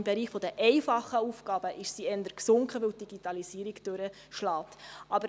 Im Bereich der einfachen Aufgaben ist sie aber eher gesunken, weil die Digitalisierung durchschlägt.